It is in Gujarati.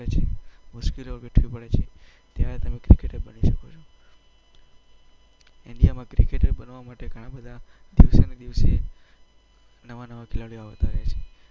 કરવી પડે છે, મુશ્કેલી વેઠવી પડે છે. ત્યારે તમે ક્રિકેટર બની શકો છો. ઈન્ડિયામાં ક્રિકેટર રમવા માટે ઘણા બધા દિવસેને દિવસે નવા નવા ખેલાડીઓ આવતા રહે છે.